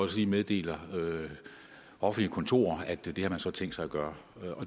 sige meddeler offentlige kontorer at det har man tænkt sig at gøre